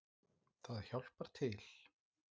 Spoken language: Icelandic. Það hjálpar til